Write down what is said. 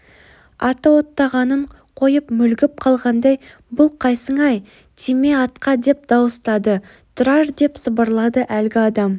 аты оттағанын қойып мүлгіп қалғандай бұл қайсың-ай тиме атқа деп дауыстады тұрар деп сыбырлады әлгі адам